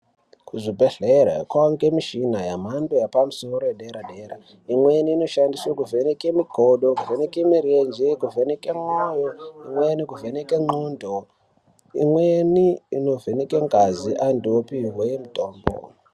Kuzvibhedhlera kwakuwanikwa mishini yemhando yepamusoro yedera dera imweni inoshandiswa kuvheneka magodo, kuvheneke mirenje, kuvheneke mwoyo. Imweni kuvheneke ngondlo imweni imovheneke ngazi antu opiwe mutombo.